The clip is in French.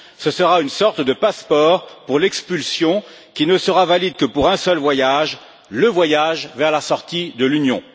Ce sera une sorte de passeport pour l'expulsion, qui ne sera valide que pour un seul voyage, le voyage vers la sortie de l'Union.